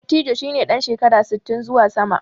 Dattijo shi ne ɗan shekara sittin zuwa sama.